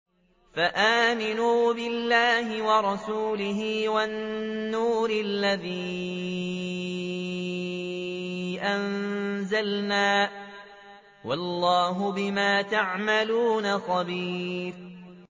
فَآمِنُوا بِاللَّهِ وَرَسُولِهِ وَالنُّورِ الَّذِي أَنزَلْنَا ۚ وَاللَّهُ بِمَا تَعْمَلُونَ خَبِيرٌ